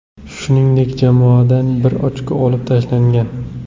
Shuningdek, jamoadan bir ochko olib tashlangan.